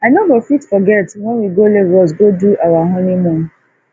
i no go fit forget wen we go lagos go do our honeymoon